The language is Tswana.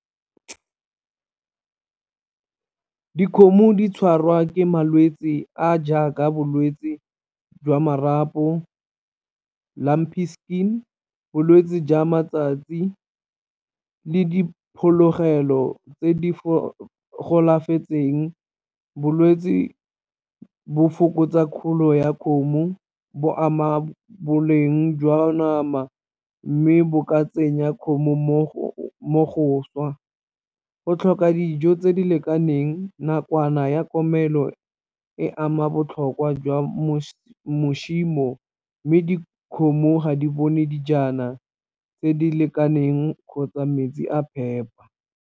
Dikgomo di tshwarwa ke malwetse a a jaaka bolwetse jwa marapo, skin, bolwetse jwa matsatsi le diphologelo tse di golafetseng, bolwetse bo fokotsa kgolo ya kgomo, bo ama boleng jwa nama, mme bo ka tsenya kgomo . O tlhoka dijo tse di lekaneng nakwana ya komelo e ama botlhokwa jwa mme dikgomo ga di bone dijana tse di lekaneng kgotsa metsi a phepa.